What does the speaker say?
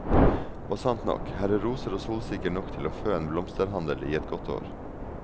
Og sant nok, her er roser og solsikker nok til å fø en blomsterhandel i et godt år.